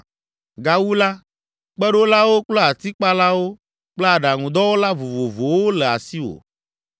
Gawu la, kpeɖolawo kple atikpalawo kple aɖaŋudɔwɔla vovovowo le asiwò.